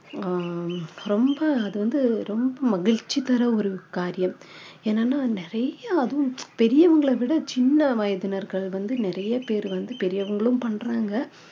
ஆஹ் ரொம்ப அது வந்து ரொம்ப மகிழ்ச்சி தர ஒரு காரியம் என்னன்னா நிறைய அதுவும் பெரியவங்களை விட சின்ன வயதினர்கள் வந்து நிறைய பேரு வந்து பெரியவங்களும் பண்றாங்க